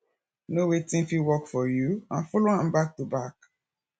know wetin fit work for you and follow am back to back